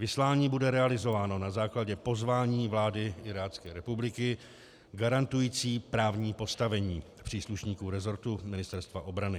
Vyslání bude realizováno na základě pozvání vlády Irácké republiky garantující právní postavení příslušníků rezortu Ministerstva obrany.